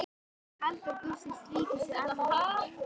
Kaldur gustur strýkst við andlit okkar.